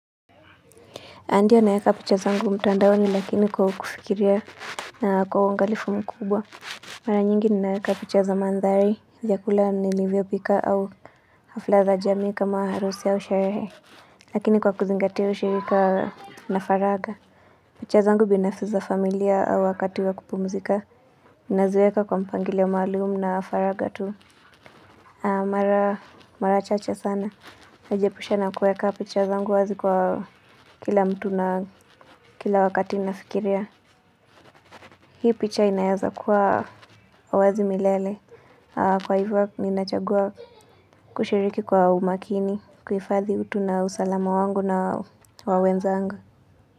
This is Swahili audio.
Ndio naeka picha zangu mtandaoni lakini kwa kufikiria na kwa uangalifu mkubwa Mara nyingi ninaeka picha za mandhari vyakula nilivyopika au hafla za jamii kama harusi au sherehe Lakini kwa kuzingatia ushirika na faragha picha zangu binafsi za familia au wakati wa kupumzika ninaziweka kwa mpangilio wa maalumu na faragha tu Mara chache sana Najiepusha na kuweka picha zangu wazi kwa kila mtu na kila wakati nafikiria Hii picha inaeza kuwa kwa uwazi milele Kwa hivyo ninachagua kushiriki kwa umakini kuhifadhi utu na usalama wangu na wa wenzangu.